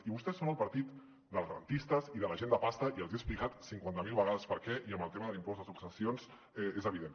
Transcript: i vostès són el partit dels garantistes i de la gent de pasta i els he explicat cinquanta mil vegades per què i amb el tema de l’impost de successions és evident